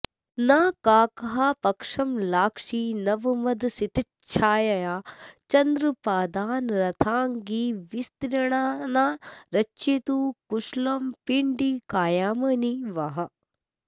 नाकौकःपक्ष्मलाक्षीनवमदहसितच्छायया चन्द्रपादान् राथाङ्गी विस्तृणाना रचयतु कुशलं पिण्डिकायामिनी वः